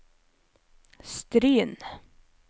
Stryn